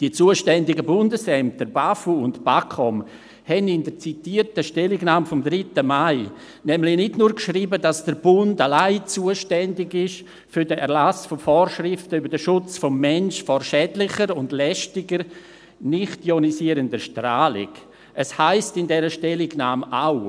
Die zuständigen Bundesämter BAFU und BAKOM schrieben in der zitierten Stellungnahme vom 3. Mai 2019 nämlich nicht nur, dass der Bund allein zuständig sei für den Erlass von Vorschriften über den Schutz des Menschen vor schädlicher und lästiger nichtionisierender Strahlung, sondern es heisst in dieser Stellungnahme auch: